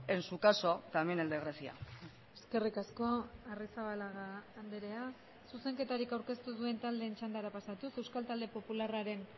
en su caso también el de grecia eskerrik asko arrizabalaga andrea zuzenketarik aurkeztu ez duen taldeen txandara pasatuz euskal talde popularraren